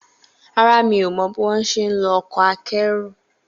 Rárá, mi ò mọ̀ bíwónṣe ń lo ọkọ̀ akẹ́rù